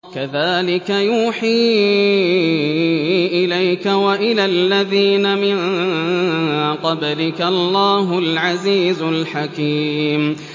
كَذَٰلِكَ يُوحِي إِلَيْكَ وَإِلَى الَّذِينَ مِن قَبْلِكَ اللَّهُ الْعَزِيزُ الْحَكِيمُ